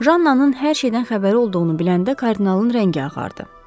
Jannanın hər şeydən xəbəri olduğunu biləndə kardinalın rəngi ağardı.